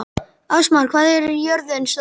Ásmar, hvað er jörðin stór?